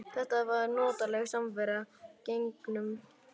Þetta var notaleg samvera gegnum símann.